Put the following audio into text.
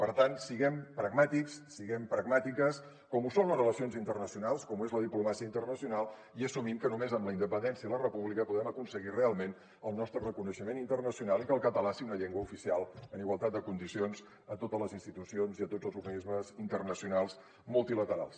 per tant siguem pragmàtics siguem pragmàtiques com ho són les relacions internacionals com ho és la diplomàcia internacional i assumim que només amb la independència i la república podrem aconseguir realment el nostre reconeixement internacional i que el català sigui una llengua oficial en igualtat de condicions a totes les institucions i a tots els organismes internacionals multilaterals